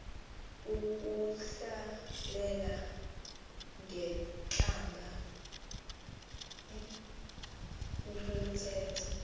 ukuhlalela ngentlamba ukuthetha